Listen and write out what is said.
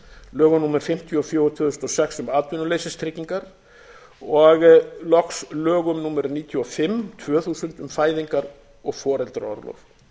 lögum númer fimmtíu og fjögur tvö þúsund og sex um atvinnuleysistryggingar og loks lögum númer níutíu og fimm tvö þúsund um fæðingar og foreldraorlof